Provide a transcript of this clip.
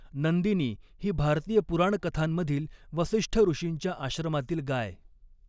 नंदिनी ही भारतीय पुराणकथांमधील वसिष्ठऋषींच्या आश्रमातील गाय.